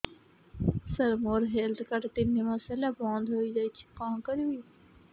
ସାର ମୋର health card ତିନି ମାସ ହେଲା ବନ୍ଦ ହେଇଯାଇଛି କଣ କରିବି